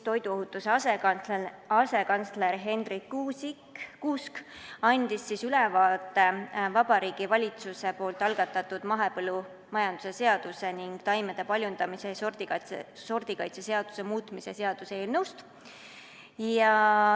Toiduohutuse asekantsler Hendrik Kuusk andis ülevaate Vabariigi Valitsuse algatatud mahepõllumajanduse seaduse ning taimede paljundamise ja sordikaitse seaduse muutmise seaduse eelnõust.